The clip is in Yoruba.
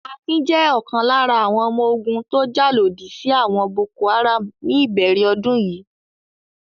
Akin jẹ́ ọ̀kan lára àwọn ọmọ ogun tó jà lòdì sí àwọn Boko-Haram ní ìbẹ̀rẹ̀ ọdún yìí.